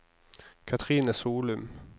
Cathrine Solum